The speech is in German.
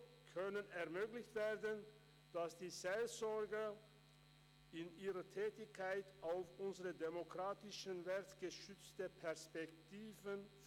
So könnte vermittelt werden, dass die Seelsorger in ihrer Tätigkeit auf unseren demokratischen Wert gestützte Perspektiven vermitteln.